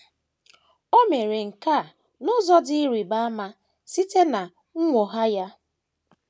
O mere nke a n’ụzọ dị ịrịba ama site ná nnwogha ya.